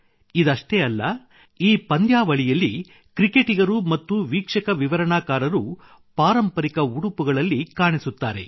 ಇದಷ್ಟೇ ಅಲ್ಲ ಈ ಪಂದ್ಯಾವಳಿಯಲ್ಲಿ ಕ್ರಿಕೆಟಿಗರು ಮತ್ತು ವೀಕ್ಷಕ ವಿವರಣಾಕಾರರು ಪಾರಂಪರಿಕ ಉಡುಪುಗಳಲ್ಲಿ ಕಾಣಿಸುತ್ತಾರೆ